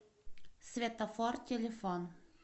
светофор телефон